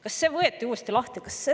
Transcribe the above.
Kas see võeti uuesti lahti?